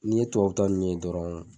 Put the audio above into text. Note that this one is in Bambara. N'i ye tubabu ta ninnu ye dɔrɔn